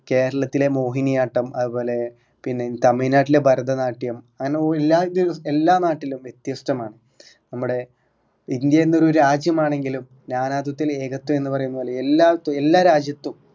കേരളത്തിലെ മോഹിനിയാട്ടം അത്പോലെ പിന്നെ തമിഴ്‌നാട്ടിലെ ഭരതനാട്യം അങ്ങനെ ഒ എല്ലാ എല്ലാ നാട്ടിലും വ്യത്യസ്തമാണ് നമ്മടെ ഇന്ത്യ എന്ന ഒരു രാജ്യമാണെങ്കിലും നാനാത്വത്തിൽ ഏകത്വം എന്ന പറയുന്ന പോലെ എല്ലാ എല്ലാ രാജ്യത്തും